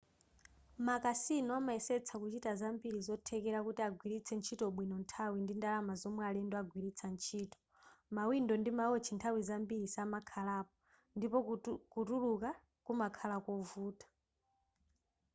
makasino amayesetsa kuchita zambiri zothekera kuti agwiritse ntchitobwino nthawi ndi ndalama zomwe alendo agwiritsa ntchito mawindo ndi mawotchi nthawi zambiri samakhalapo ndipo kutuluka kumakhala kovuta